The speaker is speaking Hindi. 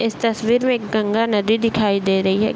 इस तस्वीर में एक गंगा नदी दिखाई दे रही है।